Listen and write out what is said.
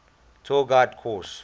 tour guide course